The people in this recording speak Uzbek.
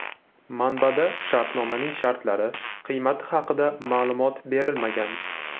Manbada shartnomaning shartlari, qiymati haqida ma’lumot berilmagan.